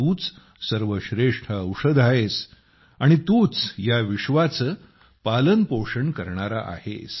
तूच सर्वश्रेष्ठ औषध आहेस आणि तूच या विश्वाचे पालनपोषण करणारा आहेस